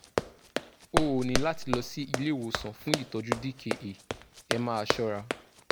ó ó ní láti lọ sí ilé ìwòsàn fún ìtọ́jú dka ẹ máa ṣọ́ra